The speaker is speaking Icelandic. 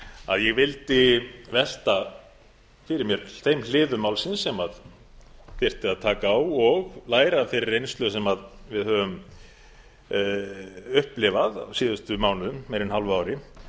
að ég vildi velta fyrir mér þeim hliðum málsins sem þyrfti að taka á og læra af þeirri reynslu sem við höfum upplifað á síðustu mánuðum meira en hálfu ári